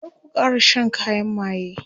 kar ku Kara Shan kayan maye!